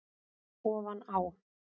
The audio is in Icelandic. Ofan á